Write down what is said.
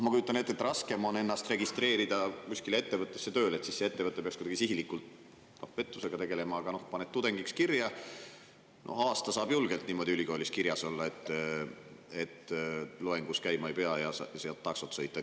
Ma kujutan ette, et raskem on ennast registreerida kuskile ettevõttesse tööle, sest siis see ettevõte peaks kuidagi sihilikult pettusega tegelema, aga paned end tudengiks kirja, aasta saab julgelt niimoodi ülikoolis kirjas olla, et loengus käima ei pea, ja saad taksot sõita.